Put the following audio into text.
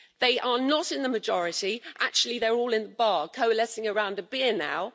They are not in the majority actually they are all in the bar coalescing around a beer